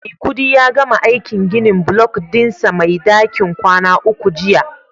Maikudi ya gama aikin ginin block dinsa Mai dakin kwana uku jiya